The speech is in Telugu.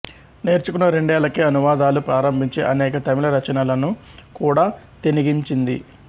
నేర్చుకున్న రెండేళ్లకే అనువాదాలు ప్రారంభించి అనేక తమిళ రచనలను కూడా తెనిగించింది